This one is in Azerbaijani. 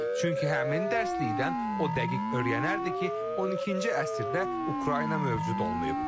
Çünki həmin dərsliyindən o dəqiq öyrənərdi ki, 12-ci əsrdə Ukrayna mövcud olmayıb.